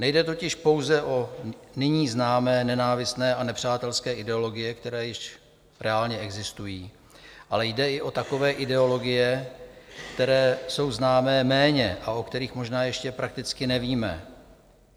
Nejde totiž pouze o nyní známé nenávistné a nepřátelské ideologie, které již reálně existují, ale jde i o takové ideologie, které jsou známé méně a o kterých možná ještě prakticky nevíme.